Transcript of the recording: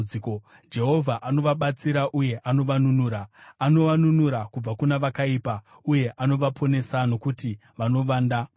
Jehovha anovabatsira uye anovanunura; anovanunura kubva kuna vakaipa uye anovaponesa, nokuti vanovanda maari.